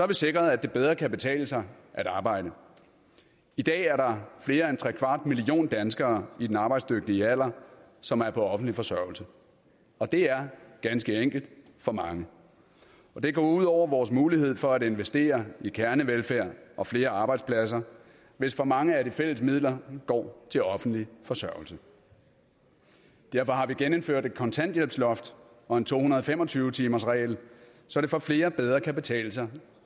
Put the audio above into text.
vi sikret at det bedre kan betale sig at arbejde i dag er der flere end trekvart million danskere i den arbejdsdygtige alder som er på offentlig forsørgelse og det er ganske enkelt for mange det går ud over vores mulighed for at investere i kernevelfærd og flere arbejdspladser hvis for mange af de fælles midler går til offentlig forsørgelse derfor har vi genindført et kontanthjælpsloft og en to hundrede og fem og tyve timersregel så det for flere bedre kan betale sig